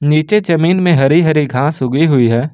नीचे जमीन में हरी-हरी घास उगी हुई है।